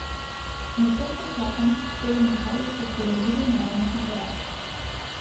Medtem ko čakam, sedem na kavč, od koder vidim naravnost na teraso.